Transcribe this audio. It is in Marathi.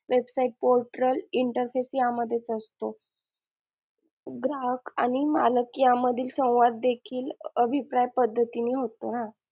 Website portal interface या मधेच असतो ग्राहक आणि मालक यांमधील संवाद देखील अभिप्राय पद्धतीने होतो ना.